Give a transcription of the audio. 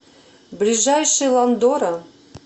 ближайший ландора